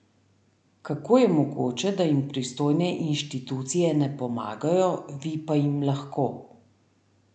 Kako je mogoče, da jim pristojne inštitucije ne pomagajo, vi pa jim lahko?